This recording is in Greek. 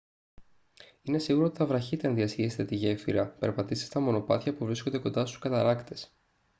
είναι σίγουρο ότι θα βραχείτε αν διασχίσετε τη γέφυρα περπατήσετε στα μονοπάτια που βρίσκονται κοντά στους καταρράκτες